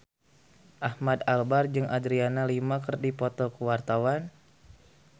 Ahmad Albar jeung Adriana Lima keur dipoto ku wartawan